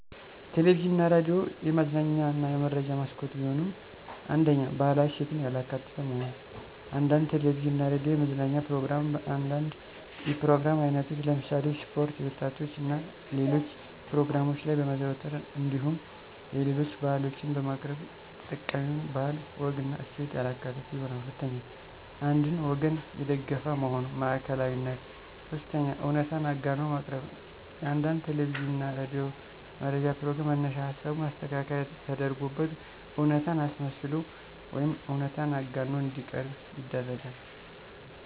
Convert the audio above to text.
ቴሌቪዥን እና ሬዲዮ የመዝናኛ እና የመረጃ መስኮት ቢሆኑም፤ 1ኛ, ባህላዊ እሴትን ያላካተተ መሆን፦ አንዳንድ ቴለቪዥን እና ሬዲዮ የመዝናኛ ፕሮግራም በአንዳንድ የፕሮግራም አይነቶች ለምሳሌ ስፖርት፣ የወጣቶች እና ሌሎች ፕሮግራሞች ላይ በማዘውተር እንዲሁም የሌሎች ባህሎችን በማቅረብ የተጠቃሚውን ባህል፣ ወግና እሴት ያላካተቱ ይሆናሉ። 2ኛ, አንድን ወገን የደገፈ መሆን (ማዕከላዊነት)፦ 3ኛ, እውነታን አጋኖ ማቅረብ፦ የአንዳንድ ቴለቪዥን እና ሬዲዮ መረጃ ፕሮግራም መነሻ ሀሳቡ ማስተካከያ ተደርጎበት እውነታን አስመስሎ ወይም እውነታን አጋኖ እንዲቀርብ ይደረጋል።